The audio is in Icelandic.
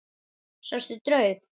Sástu draug?